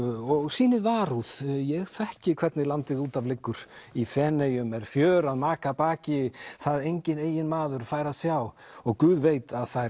og sýnið varúð ég þekki hvernig landið út af liggur í Feneyjum er fjör að maka baki það enginn eiginmaður fær að sjá og Guð veit að þær